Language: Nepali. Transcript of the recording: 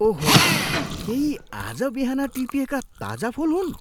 ओहो! के यी आज बिहान टिपिएका ताजा फुल हुन्?